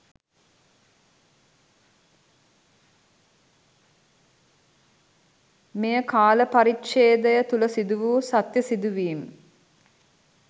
මෙයකාල පරිච්ඡේදය තුල සිදු වූ සත්‍ය සිදුවීම්